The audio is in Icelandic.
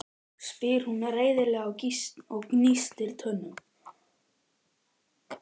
spyr hún reiðilega og gnístir tönnum.